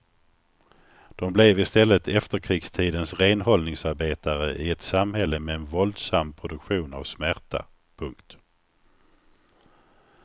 De blev i stället efterkrigstidens renhållningsarbetare i ett samhälle med en våldsam produktion av smärta. punkt